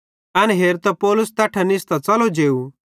एन हेरतां पौलुस तैट्ठां निस्तां च़लो जेव